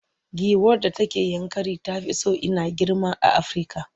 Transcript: Giwar da take Yankari ta fi ko ina girma a Afirka.